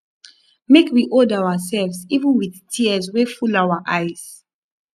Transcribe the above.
make we hold ourselves even wit tears wey full our eyes